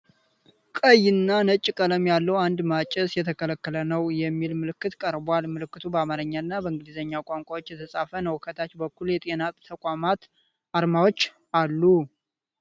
ቀይና ነጭ ቀለም ያለው አንድ "ማጨስ የተከለከለ ነው!" የሚል ምልክት ቀርቧል፡፡ ምልክቱ በአማርኛ እና በእንግሊዘኛ ቋንቋዎች የተጻፈ ነው፡፡ ከታች በኩል የጤና ተቋማት አርማዎች አሉ፡፡